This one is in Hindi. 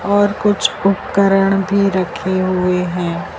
और कुछ उपकरण भी रखे हुए हैं।